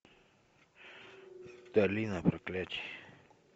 долина проклятий